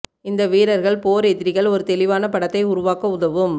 இந்த வீரர்கள் போர் எதிரிகள் ஒரு தெளிவான படத்தை உருவாக்க உதவும்